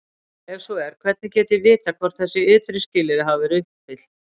Ef svo er, hvernig get ég vitað hvort þessi ytri skilyrði hafa verið uppfyllt?